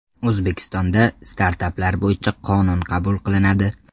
O‘zbekistonda startaplar bo‘yicha qonun qabul qilinadi.